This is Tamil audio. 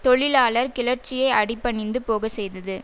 தொழிலாளர் கிளர்ச்சியை அடிபணிந்து போக செய்தது